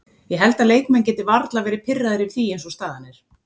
Ég held að leikmenn geti varla verði pirraðir yfir því eins og staðan er.